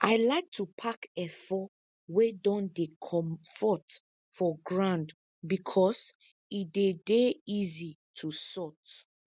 i like to pack efo wey don dey comfort for ground becos e dey dey easy to sort